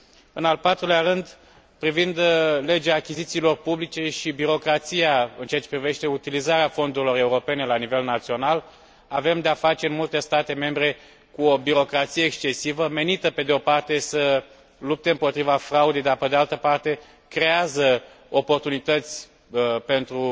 În al patrulea rând, privind legea achizițiilor publice și birocrația în ceea ce privește utilizarea fondurilor europene la nivel național, avem de a face în multe state membre cu o birocrație excesivă menită, pe de o parte, să lupte împotriva fraudei dar care, pe de altă parte, creează oportunități pentru